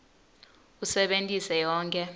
usebentise yonkhe